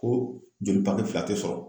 Ko joli papiye fila tɛ sɔrɔ